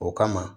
O kama